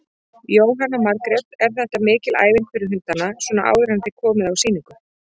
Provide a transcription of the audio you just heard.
Jóhanna Margrét: Er þetta mikil æfing fyrir hundana svona áður en þið komið á sýningu?